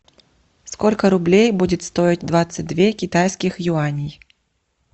сколько рублей будет стоить двадцать две китайских юаней